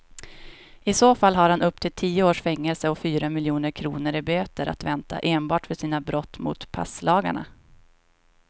I så fall har han upp till tio års fängelse och fyra miljoner kronor i böter att vänta enbart för sina brott mot passlagarna.